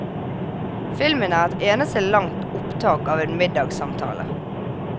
Filmen er et eneste langt opptak av en middagssamtale.